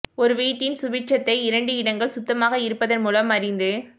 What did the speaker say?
ஒரு வீட்டின் சுபிட்சத்தை இரண்டு இடங்கள் சுத்தமாக இருப்பதன் மூலம் அறிந்து